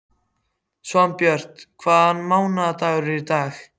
Svanbjört, hvaða mánaðardagur er í dag?